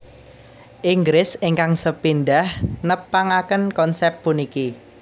Inggris ingkang sepindhah nepangaken konsèp puniki